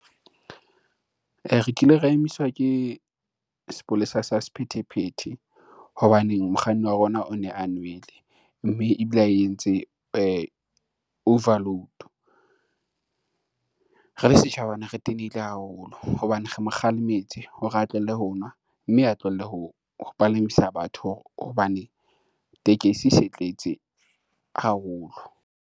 Re kile ra emiswa ke sepolesa sa sephethephethe, hobaneng mokganni wa rona o ne a nwele mme ebile a entse overload. Re le setjhaba ne re tenehile haholo hobane re mo kgalemetse hore a tlohele ho nwa mme a tlohele ho palamisa batho hobane tekesi e se tletse haholo.